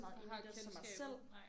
Der har kendskabet nej